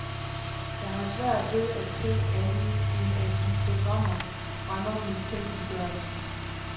Jeg har svært ved at se andet, end at de programmer fremmer mistænkeliggørelsen.